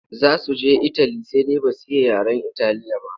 Za su je itali sai dai ba su iya yaren Italiya ba.